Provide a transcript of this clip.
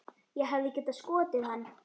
Ég hefði getað skotið hann.